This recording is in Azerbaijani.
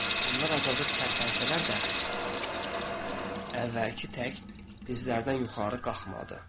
Onlar azacıq tərpənsələr də, əvvəlki tək dizlərdən yuxarı qalxmadı.